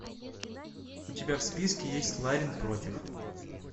у тебя в списке есть ларин против